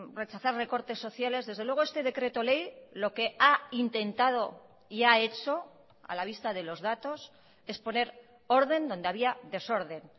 rechazar recortes sociales desde luego este decreto ley lo que ha intentado y ha hecho a la vista de los datos es poner orden donde había desorden